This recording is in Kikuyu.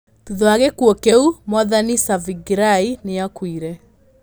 Thutha wa gĩkuũ kĩu, Mwathani Tsvangirai nĩ aakuire.